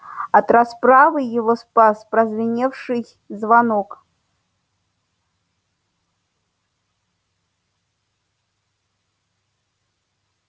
от расправы его спас прозвеневший звонок